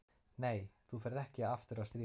Nei, þú ferð ekki aftur að stríða mér.